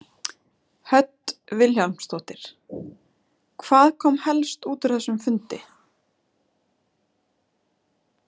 Hödd Vilhjálmsdóttir: Hvað kom helst út úr þessum fundi?